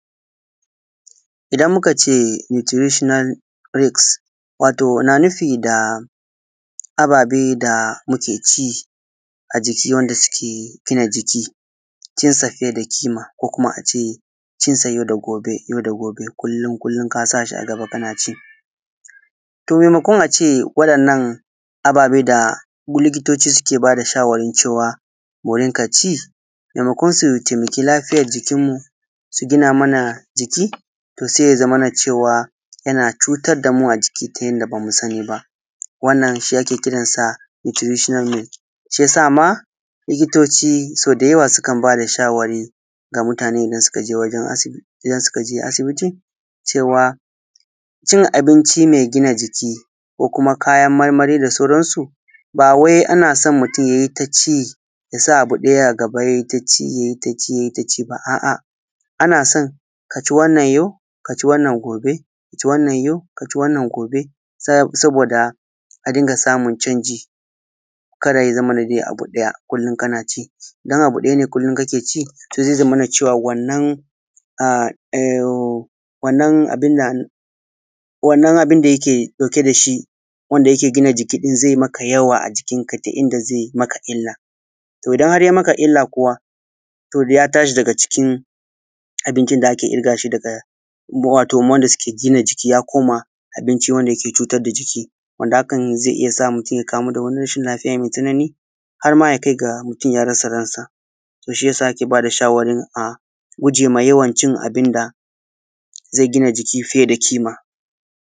Idan mukace nutritional risk wato na nufi da ababe da muke ci ajiki wanda suke gina jiki, cin sa fiye da ƙima ko kuma a ce cin sa yau da gobe kullum-kullum ka sa shi a gaba kana ci, to maimakon a ce waɗannan ababe da likitoci suke ba da shawarin cewa mu rinƙa ci, maimakon su taimaki lafiyar jikinmu su gina mana jiki to sai ya zamana cewa yana cutar da mu a jiki ta yanda ba mu sani ba wannan shi ake kiransa da nutritional risk. Sai ya sa ma likitoci so dayawa ma sukan ba da shawari ga mutane idan suka je asibiti cewa cin abinci mai gina jiki ko kuma kayan marmari da sauransu ba wai ana san mutum ya yi ta ci ya sa abu ɗaya a gaba ya yi ta ci ya yi ta ci ba, a’a ana san ka ci wannan yau ka ci wannan gobe, saboda a rinƙa samun canji kada ya zamana dai abu ɗaya kullum kana ci idan abu ɗaya ne kullum kake ci to zai zamana cewa wannan abin da yake ɗauke da shi wanda yake gina jiki zai maka yawa a jikinka ta inda zai maka illa to idan har yai maka illa kuwa to ya tashi daga cikin abincin da ake ƙirga shi da wato wanda suke gina jiki ya koma abinci wanda yake cutar da jiki, wanda hakan zai iya sa mutum ya kamu da wani rahin lafiya mai tsanani har ma ya kai ga mutum ya rasa ransa to shi yasa ake bada shawarin a guje ma yawan cin abun da zai gina jiki fiye da ƙima.